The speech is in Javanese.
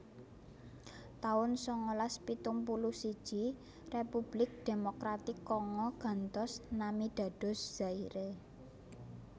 taun sangalas pitung puluh siji Republik Demokratik Kongo gantos nami dados Zaire